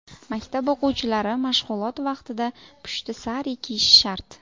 Maktab o‘quvchilari mashg‘ulot vaqtida pushti sari kiyishi shart.